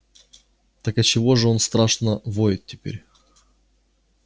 так отчего же он страшно воет теперь